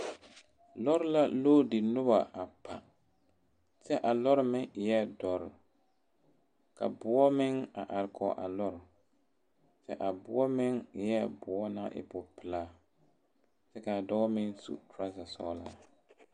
lɔr la loade noba a pa, kyɛ a lɔr meŋ e la doɔre ka boɔ meŋ a are kɔge a lɔr kyɛ a boɔ meŋ eɛɛ boɔ na e bopelaa, kyɛ kaa dɔɔ meŋ seɛ trouza sɔglaa